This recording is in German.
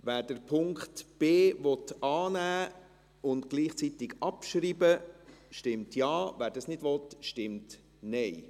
Wer den Punkt b annehmen und gleichzeitig abschreiben will, stimmt Ja, wer das nicht will, stimmt Nein.